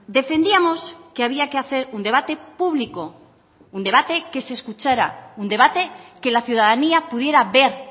defendíamos que había que hacer un debate público un debate que se escuchara un debate que la ciudadanía pudiera ver